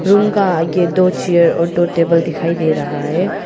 Room का आगे दो चेयर और दो टेबल दिखाई दे रहा है।